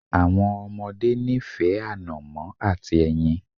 Àwọn ọmọdé nífẹ̀ẹ́ ànọ̀mó àti ẹyin.